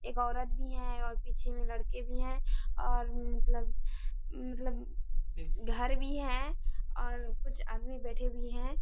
एक औरत भी है और पीछे मे लड़के भी है और मतलब मतलब घर भी है और कुछ आदमी बैठे भी है।